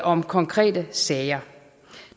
om konkrete sager